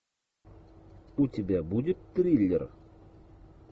у тебя будет триллер